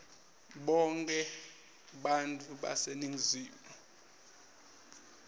bonkhe bantfu baseningizimu